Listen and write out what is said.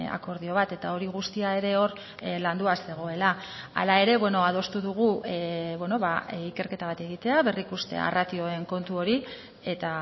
akordio bat eta hori guztia ere hor landua zegoela hala ere adostu dugu ikerketa bat egitea berrikustea ratioen kontu hori eta